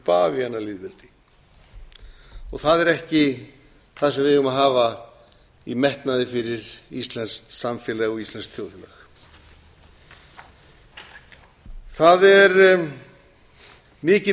heldur bavíanalýðveldi og það er ekki það sem við eigum að hafa í metnaði fyrir íslenskt samfélag og íslenskt þjóðfélag það er mikið